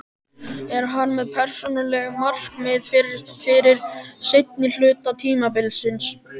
Er hann með persónuleg markmið fyrir seinni hluta tímabilsins?